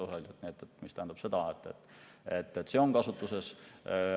See tähendab, et see on kasutuses.